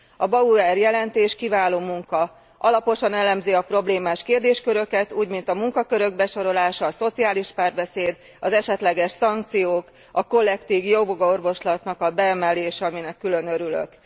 A Bauer jelentés kiváló munka. Alaposan elemzi a problémás kérdésköröket, úgymint a munkakörök besorolása, a szociális párbeszéd, az esetleges szankciók, a kollektív jogorvoslat beemelése, aminek külön örülök.